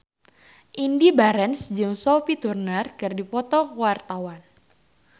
Indy Barens jeung Sophie Turner keur dipoto ku wartawan